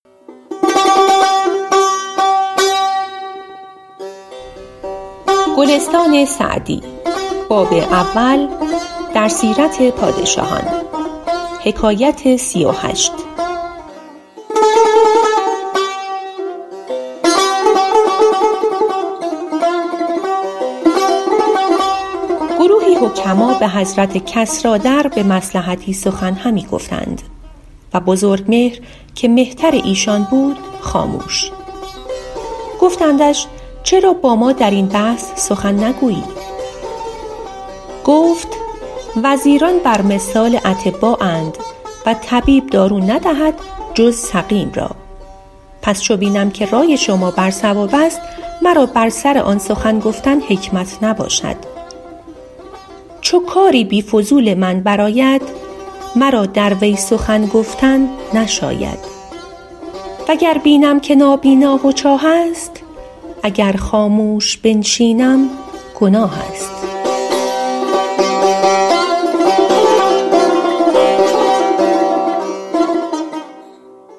گروهی حکما به حضرت کسریٰ در به مصلحتی سخن همی گفتند و بزرگمهر که مهتر ایشان بود خاموش گفتندش چرا با ما در این بحث سخن نگویی گفت وزیران بر مثال اطبااند و طبیب دارو ندهد جز سقیم را پس چو بینم که رای شما بر صواب است مرا بر سر آن سخن گفتن حکمت نباشد چو کاری بی فضول من بر آید مرا در وی سخن گفتن نشاید و گر بینم که نابینا و چاه است اگر خاموش بنشینم گناه است